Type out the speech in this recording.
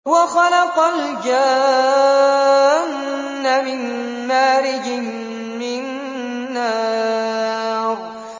وَخَلَقَ الْجَانَّ مِن مَّارِجٍ مِّن نَّارٍ